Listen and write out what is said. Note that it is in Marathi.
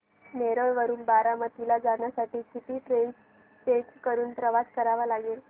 नेरळ वरून बारामती ला जाण्यासाठी किती ट्रेन्स चेंज करून प्रवास करावा लागेल